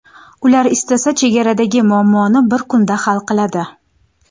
Ular istasa chegaradagi muammoni bir kunda hal qiladi.